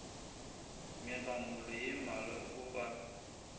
megamolo ye mmalwa o a